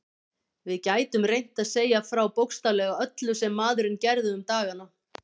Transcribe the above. Við gætum reynt að segja frá bókstaflega öllu sem maðurinn gerði um dagana.